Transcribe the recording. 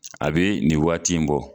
A be nin waati in bɔ